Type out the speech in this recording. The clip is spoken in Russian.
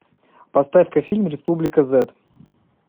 поставь ка фильм республика зет